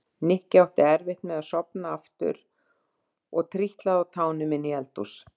Nikki átti erfitt með að sofna aftur og trítlaði á tánum inn í eldhús.